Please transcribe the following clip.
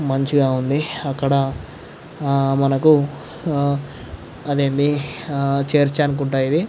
మంచిగా ఉంది. అక్కడ ఆ మనకు అది ఏమిటి చర్చ్ అనుకుంటా ఇది.